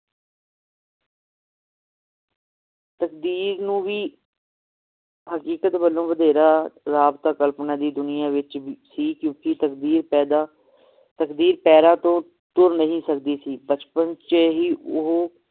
ਤਕਦੀਰ ਨੂੰ ਵੀ ਹਕੀਕਤ ਵੱਲੋਂ ਵਧੇਰਾ ਤਾਂ ਕਲਪਨਾ ਦੀ ਦੁਨੀਆਂ ਵਿਚ ਵੀ ਕਿਉਕਿ ਤਕਦੀਰ ਪੈਦਾ ਤਕਦੀਰ ਪੈਰਾਂ ਤੋਂ ਤੁਰ ਨਹੀਂ ਸਕਦੀ ਸੀ ਬਚਪਨ ਚ ਹੀ ਉਹ